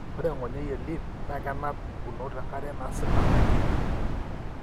ore engonyoi elyph na kenap pukunoto enkare nasila naji lymph.